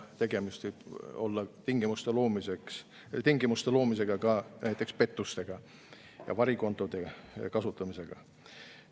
Tegemist võib olla tingimuste loomisega pettusteks, varikontode kasutamiseks.